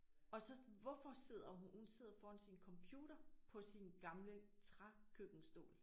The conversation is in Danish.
Og så hvorfor sidder hun sidder foran sin computer på sin gamle trækøkkenstol